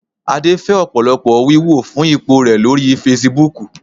Adé fẹ́ ọ̀pọ̀lọpọ̀ wíwò fún ipò rẹ̀ lórí Fasibúùkù